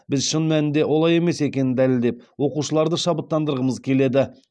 біз шын мәнінде олай емес екенін дәлелдеп оқушыларды шабыттандырғымыз келеді